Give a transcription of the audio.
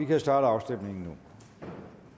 vi starte afstemningen nu